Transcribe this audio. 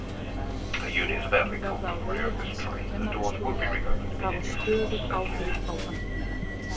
Ég mun verða á vegi hans á kennarastofu og hafa stöðug áhrif á hann.